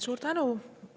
Suur tänu!